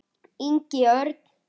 Ingi Örn.